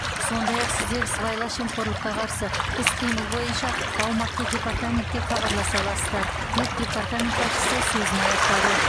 сондай ақ сіздер сыбайлас жемқорлыққа қарсы іс қимыл бойынша аумақтық департаментке хабарласа аласыздар деп департамент басшысы сөзін аяқтады